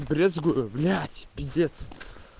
брезгую блять пиздец